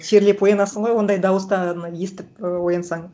терлеп оянасың ғой ондай дауыстан естіп оянсаң